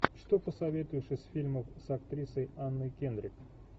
что посоветуешь из фильмов с актрисой анной кендрик